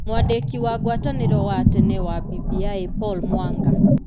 Mwandĩki wa ngwatanĩro wa tene wa BBI Paul Mwanga.